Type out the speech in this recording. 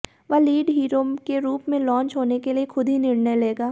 वह lead hero के रूप में लांच होने के लिए खुद ही निर्णय लेगा